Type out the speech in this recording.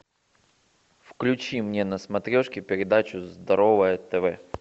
включи мне на смотрешке передачу здоровое тв